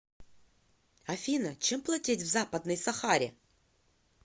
афина чем платить в западной сахаре